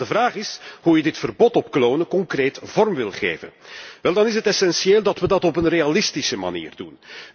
De vraag is hoe je dit verbod op klonen concreet vorm wilt geven? Wel, het is essentieel dat wij dat op een realistische manier doen.